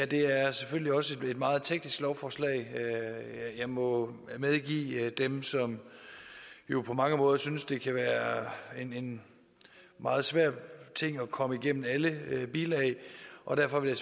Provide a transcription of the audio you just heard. det her selvfølgelig også er et meget teknisk lovforslag det må jeg medgive dem som jo på mange måder synes det kan være en en meget svær ting at komme igennem alle bilag og derfor vil